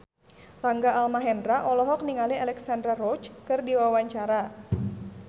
Rangga Almahendra olohok ningali Alexandra Roach keur diwawancara